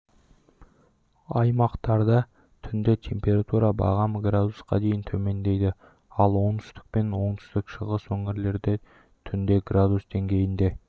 аймақтарда түнде температура бағамы градусқа дейін төмендейді ал оңтүстік пен оңтүстік-шығыс өңірлерде түнде градус деңгейінде